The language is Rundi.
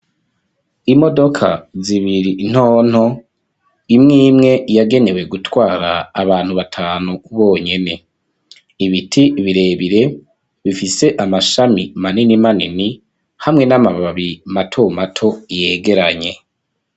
Imodoka zibiri ntonto imwimwe yagenewe gutwara abantu batanu bonyene. Ibiti birebire bifise amashami manini manini hamwe n'amababi mato mato yegeranye.